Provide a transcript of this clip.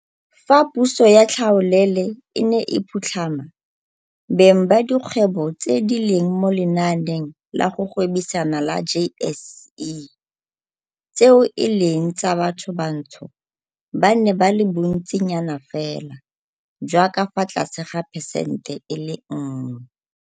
Fa puso ya tlhaolele e ne e phutlhama, beng ba dikgwebo tse di leng mo lenaaneng la go gwebisana la JSE tseo e leng tsa bathobantsho ba ne ba le bontsinyanafela jwa ka fa tlase ga phesente e le nngwe.